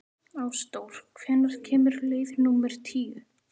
Ásdór, hvenær kemur leið númer tíu?